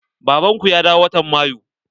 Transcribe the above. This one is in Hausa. Baban ku ya dawo watan Mayu?